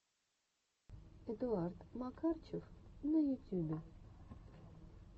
эдуард макарчев на ютюбе